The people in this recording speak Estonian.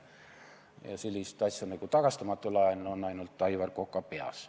Ja selline asi nagu tagastamatu laen on ainult Aivar Koka peas.